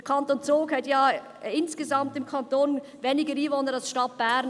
Der Kanton Zug hat ja insgesamt weniger Einwohner als die Stadt Bern.